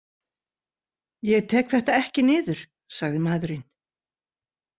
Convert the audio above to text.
Ég tek þetta ekki niður, sagði maðurinn.